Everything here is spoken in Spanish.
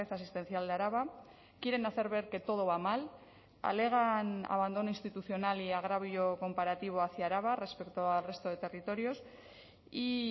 asistencial de araba quieren hacer ver que todo va mal alegan abandono institucional y agravio comparativo hacia araba respecto al resto de territorios y